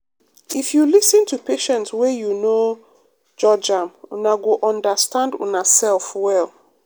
um if you lis ten to patient wey you no judge am una go understand una sef well.